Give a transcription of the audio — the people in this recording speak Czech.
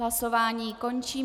Hlasování končím.